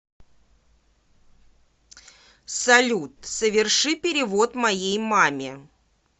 салют соверши перевод моей маме